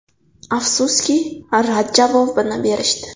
Afsuski, rad javobini berishdi.